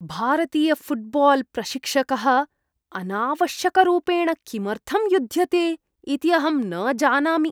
भारतीयफ़ुट्बाल्प्रशिक्षकः अनावश्यकरूपेण किमर्थं युध्यते इति अहं न जानामि।